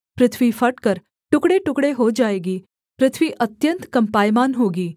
पृथ्वी फटकर टुकड़ेटुकड़े हो जाएगी पृथ्वी अत्यन्त कम्पायमान होगी